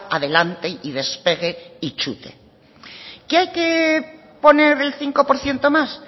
adelante y despegue y chute qué hay que poner el cinco por ciento más